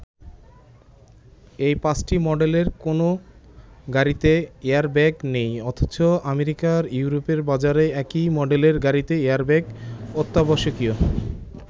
এই ৫টি মডেলের কোনো গাড়িতে এয়ারব্যাগ নেই অথচ আমেরিকা ইউরোপের বাজারে একই মডেলের গাড়িতে এয়ারব্যাগ অত্যাবশ্যকীয়।